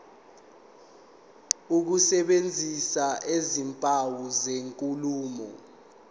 ukusebenzisa izimpawu zenkulumo